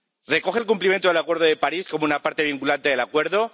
¿Recoge el cumplimiento del Acuerdo de París como una parte vinculante del Acuerdo?